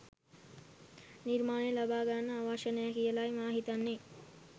නිර්මාණ ලබා ගන්න අවශ්‍ය නෑ කියලයි මා හිතන්නේ.